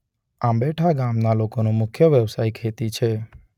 આંબેથા ગામના લોકોનો મુખ્ય વ્યવસાય ખેતી છે.